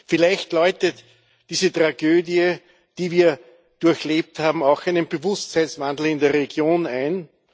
Vielleicht läutet diese Tragödie, die wir durchlebt haben, auch einen Bewusstseinswandel in der Region ein.